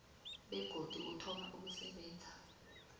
begodu uthoma ukusebenza